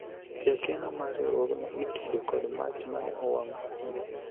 jakeno mar riwruogno itudo kod mach mane owang'o apise